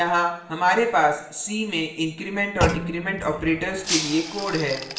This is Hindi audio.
यहाँ हमारे पास c में increment और decrement operators के लिए code है